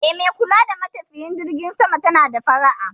Eh, mai kula da buƙatun matafiyan jirgin sama tana da fara'a.